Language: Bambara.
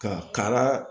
Ka kara